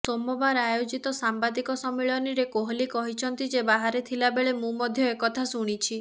ସୋମବାର ଆୟୋଜିତ ସାମ୍ବାଦିକ ସମ୍ମିଳନୀରେ କୋହଲି କହିଛନ୍ତି ଯେ ବାହାରେ ଥିଲା ବେଳେ ମୁଁ ମଧ୍ୟ ଏକଥା ଶୁଣିଛି